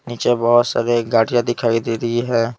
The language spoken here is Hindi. नीचे बहुत सारे गाढ़िया दिखाई दे रही है।